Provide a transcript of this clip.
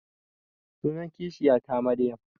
Sunan kishiya ta Maryam